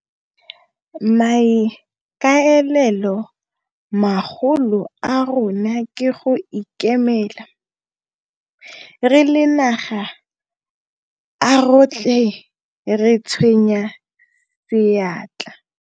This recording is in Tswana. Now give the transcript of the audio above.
Maikaelelo magolo a rona ke go ikemela. Re le naga, a rotlhe re tsenye seatla.